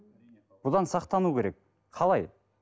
бұдан сақтану керек қалай